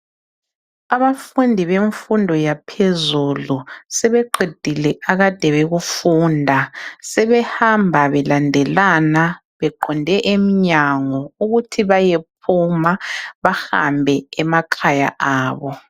Abafundi bemfundo yaphezulu sebeqedile akade bekufunda .Sebehamba belandelana beqonde emnyango ukuthi bayephuma bahambe emakhaya abo .